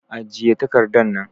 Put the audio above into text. Ajiye takardan nan!